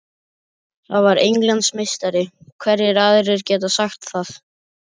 Ég var Englandsmeistari, hverjir aðrir geta sagt það?